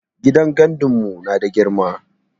Gidan gandun mu nada girma